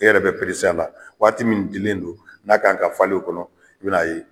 E yɛrɛ be la waati mun dilen don n'a kan ka falen o kɔnɔ i bi n'a ye